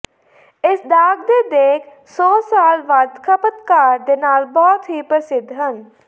ਇਸ ਦਾਗ ਦੇ ਦੇਖ ਸੌ ਸਾਲ ਵੱਧ ਖਪਤਕਾਰ ਦੇ ਨਾਲ ਬਹੁਤ ਹੀ ਪ੍ਰਸਿੱਧ ਹਨ